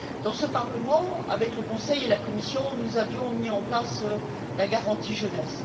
Dans ce Parlement, avec le Conseil et la Commission, nous avions mis en place la garantie jeunesse.